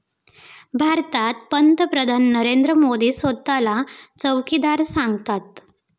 भारतात पंतप्रधान नरेंद्र मोदी स्वतःला चौकीदार सांगतात.